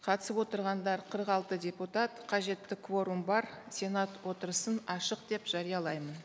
қатысып отырғандар қырық алты депутат қажетті кворум бар сенат отырысын ашық деп жариялаймын